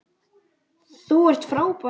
Þú ert frábær!